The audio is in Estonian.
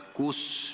Urmas Kruuse, palun!